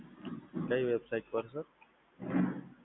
કઈ website પર Sir?